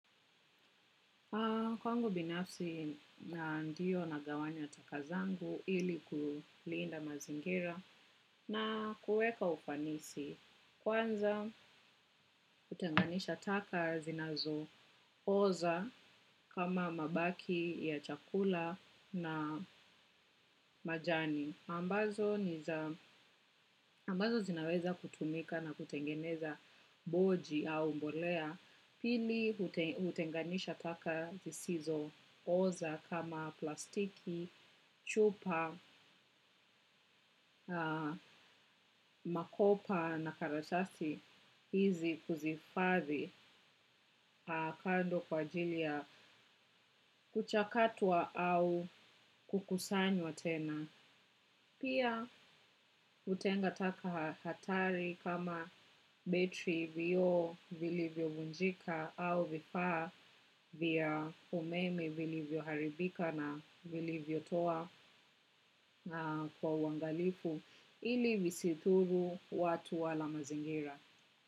Kwangu binafsi na ndio nagawanya taka zangu ili kulinda mazingira na kuweka ufanisi kwanza hutenganisha taka zinazooza kama mabaki ya chakula na majani. Ambazo zinaweza kutumika na kutengeneza boji au mbolea pili hutenganisha taka zisizooza kama plastiki, chupa, makopa na karatasi hizi kuzihifadhi kando kwa ajili yakuchakatwa au kukusanywa tena. Pia hutenga taka hatari kama betri vioo vilivyovunjika au vifaa vya umeme vilivyoharibika na vilivyotoa kwa uwangalifu ili visidhuru watu wala mazingira.